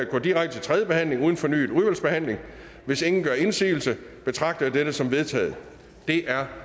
går direkte til tredje behandling uden fornyet udvalgsbehandling hvis ingen gør indsigelse betragter jeg dette som vedtaget det er